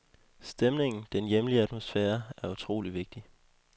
Stemningen, den hjemlige atmosfære, er utroligt vigtig.